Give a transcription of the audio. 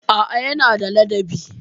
A'a, yana da ladabi.